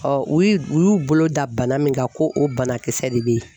u yi u u y'u bolo da bana min kan ko o banakisɛ de be yen